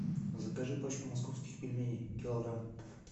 закажи пачку московских пельменей килограмм